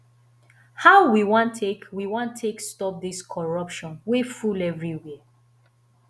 how we wan take we wan take stop dis corruption wey full everywhere